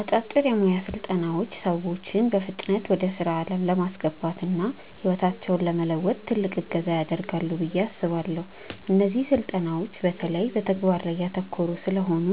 አጫጭር የሞያ ስልጠናዎች ሰዎችን በፍጥነት ወደ ስራ ዓለም ለማስገባትና ህይወታቸውን ለመለወጥ ትልቅ እገዛ ያደርጋሉ ብዬ አስባለው። እነዚህ ስልጠናዎች በተለይ በተግባር ላይ ያተኮሩ ስለሆኑ፣